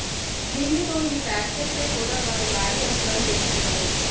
దీనితో ఈ ఫ్యాక్టర్ పై కూడా వారు భారీ అంచనాలు పెట్టుకున్నారు